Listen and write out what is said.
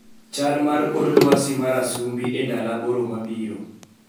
Chal mar kor lwasi mar Asumbi e ndalo aboro mabiro